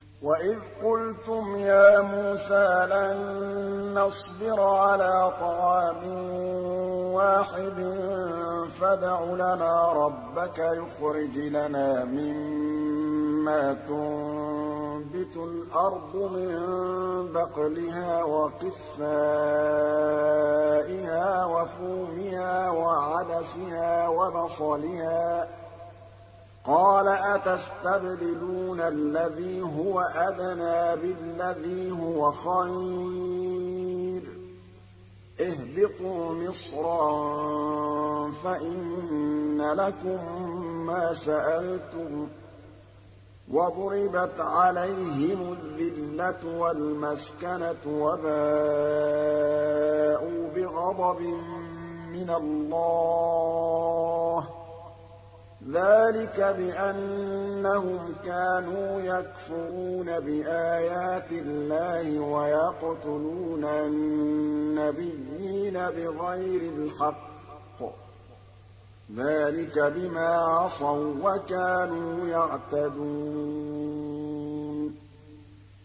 وَإِذْ قُلْتُمْ يَا مُوسَىٰ لَن نَّصْبِرَ عَلَىٰ طَعَامٍ وَاحِدٍ فَادْعُ لَنَا رَبَّكَ يُخْرِجْ لَنَا مِمَّا تُنبِتُ الْأَرْضُ مِن بَقْلِهَا وَقِثَّائِهَا وَفُومِهَا وَعَدَسِهَا وَبَصَلِهَا ۖ قَالَ أَتَسْتَبْدِلُونَ الَّذِي هُوَ أَدْنَىٰ بِالَّذِي هُوَ خَيْرٌ ۚ اهْبِطُوا مِصْرًا فَإِنَّ لَكُم مَّا سَأَلْتُمْ ۗ وَضُرِبَتْ عَلَيْهِمُ الذِّلَّةُ وَالْمَسْكَنَةُ وَبَاءُوا بِغَضَبٍ مِّنَ اللَّهِ ۗ ذَٰلِكَ بِأَنَّهُمْ كَانُوا يَكْفُرُونَ بِآيَاتِ اللَّهِ وَيَقْتُلُونَ النَّبِيِّينَ بِغَيْرِ الْحَقِّ ۗ ذَٰلِكَ بِمَا عَصَوا وَّكَانُوا يَعْتَدُونَ